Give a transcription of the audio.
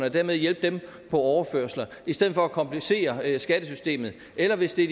og dermed hjælpe dem på overførsler i stedet for at komplicere skattesystemet eller hvis det